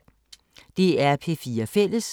DR P4 Fælles